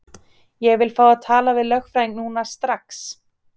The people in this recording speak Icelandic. Ég vil fá að tala við lögfræðing núna, strax!